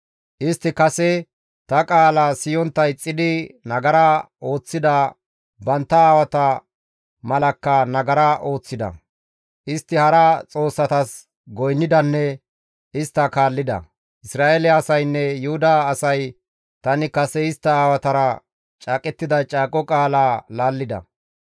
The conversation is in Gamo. Istti kase ta qaala siyontta ixxidi nagara ooththida bantta aawata malakka nagara ooththida; istti hara xoossatas goynnidanne istta kaallida; Isra7eele asaynne Yuhuda asay tani kase istta aawatara caaqettida caaqo qaala laallida.